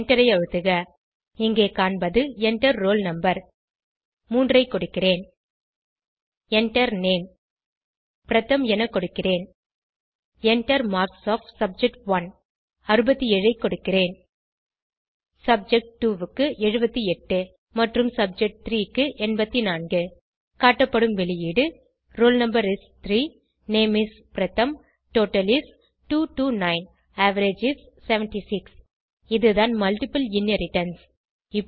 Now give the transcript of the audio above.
எண்டரை அழுத்துக இங்கு காண்பது Enter ரோல் no 3ஐ கொடுக்கிறேன் Enter Name பிரதம் என கொடுக்கிறேன் Enter மார்க்ஸ் ஒஃப் சப்ஜெக்ட்1 67 ஐ கொடுக்கிறேன் சப்ஜெக்ட்2 க்கு 78 மற்றும் சப்ஜெக்ட்3 க்கு 84 காட்டப்படும் வெளியீடு roll no is 3 name is Pratham total is 229 average is 76 இதுதான் மல்ட்டிபிள் இன்ஹெரிடன்ஸ்